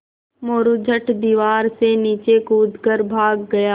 मोरू झट दीवार से नीचे कूद कर भाग गया